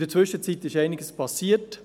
In der Zwischenzeit ist einiges geschehen;